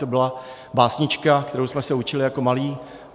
To byla básnička, kterou jsme se učili jako malí.